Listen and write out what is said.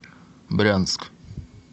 брянск